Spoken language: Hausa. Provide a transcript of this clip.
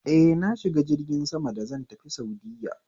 Eh, na shiga jirgin sama da zan tafi saudiya